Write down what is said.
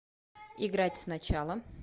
играть сначала